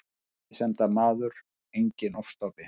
Friðsemdarmaður, enginn ofstopi.